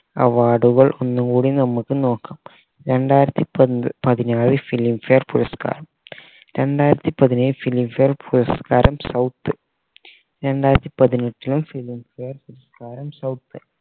award കൾ ഒന്ന് കൂടി നോക്കാം രണ്ടായിരത്തി പത് പതിനാറ് filmfare പുരസ്ക്കാരം രണ്ടായിരത്തി പതിനേഴിൽ filmfare പുരസ്ക്കാരം south രണ്ടായിരത്തി പതിനെട്ടിലും filmfare പുരസ്ക്കാരം south